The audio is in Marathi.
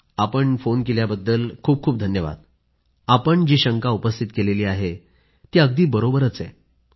आपण फोन केल्याबद्दल खूपखूप धन्यवाद आपण जी शंका उपस्थित केली आहे ती अगदी बरोबर आहे